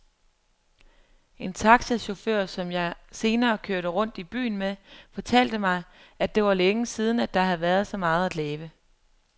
En taxachauffør, som jeg senere kørte rundt i byen med, fortalte mig, at det var længe siden, der havde været så meget at lave.